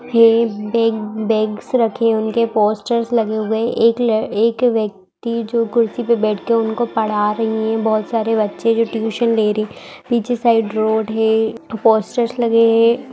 हे bag bags रखे उनके posters लगे हुए है एक ल एक व्यक्ति जो कुर्सी पे बैठ के उनको पढ़ा रही है बहुत सारे बच्चे जो ट्यूशन ले रही पीछे साइड रोड है पोस्टर्स लगे है।